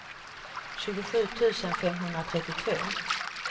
tjugosju tusen femhundratrettiotvå